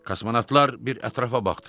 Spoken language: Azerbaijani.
Kosmonavtlar bir ətrafa baxdılar.